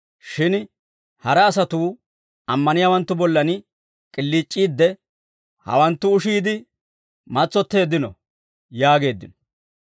Shin hara asatuu ammaniyaawanttu bollan K'iliic'iidde, «Hawanttu ushiide matsotteeddino» yaageeddino.